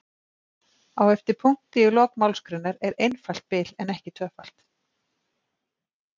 Á eftir punkti í lok málsgreinar er einfalt bil en ekki tvöfalt.